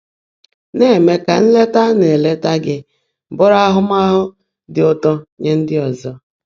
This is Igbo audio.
Ná-èmé kà nlètá á ná-èlèètá gị́ bụ́rụ́ áhụ́máhụ́ ḍị́ ụ́tọ́ nyé ndị́ ọ́zọ́.